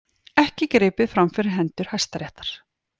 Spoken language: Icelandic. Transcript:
Ekki gripið fram fyrir hendur Hæstaréttar